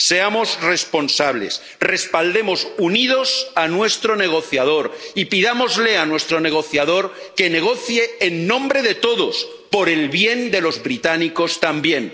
Seamos responsables, respaldemos unidos a nuestro negociador y pidámosle a nuestro negociador que negocie en nombre de todos, por el bien de los británicos también.